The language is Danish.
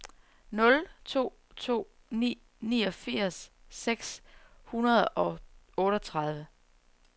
nul to to ni niogfirs seks hundrede og otteogtredive